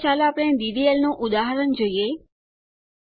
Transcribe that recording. આગળ ચાલો આપણે ડીડીએલ નું ઉદાહરણ જોઈએ